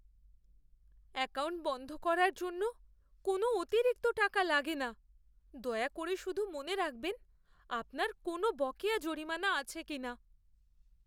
Account বন্ধ করার জন্য কোনও অতিরিক্ত টাকা লাগে না। দয়া করে শুধু মনে রাখবেন আপনার কোনও বকেয়া জরিমানা আছে কিনা।